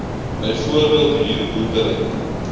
byvoorbeeld huur boerdery